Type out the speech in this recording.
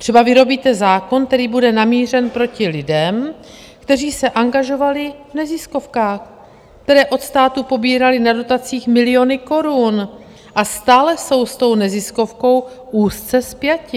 Třeba vyrobíte zákon, který bude namířen proti lidem, kteří se angažovali v neziskovkách, které od státu pobíraly na dotacích miliony korun, a stále jsou s tou neziskovkou úzce spjati.